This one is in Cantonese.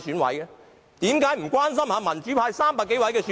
為何不關心民主派300多名選委？